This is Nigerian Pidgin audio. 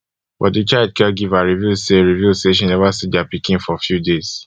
but di child caregiver reveal say reveal say she neva see dia pikin for few days